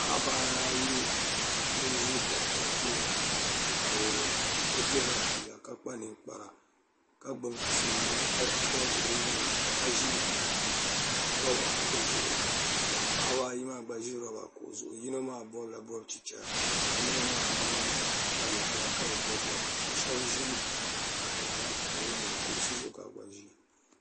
Paɣiba ayi n-ʒi doɣita tooni ka o diri ba fiila ka kpa ninkpara ka gbubi tim ni peen o nuu ni ka ʒi roba kuɣu zuɣu ka paɣiba ayi maa gba ʒi roba kuɣu zuɣu yino maa bɔbila bɔb'chichara ka yino maa mi kpa ninkpara ka bi bɔbi bɔbiga ka shɛba ʒi katiŋa ha ka wumda kuɣusi zuɣu ka bɛ gba ʒiya.